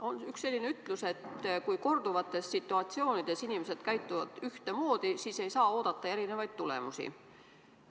On üks selline ütlus, et kui korduvates situatsioonides inimesed käituvad ühte moodi, siis ei saa oodata erinevaid tulemusi.